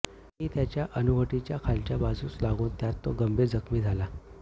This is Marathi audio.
ती त्याच्या हनुवटीच्या खालच्या बाजूस लागून त्यात तो गंभीर जखमी झाला